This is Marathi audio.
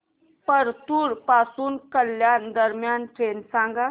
परतूर पासून कल्याण दरम्यान ट्रेन सांगा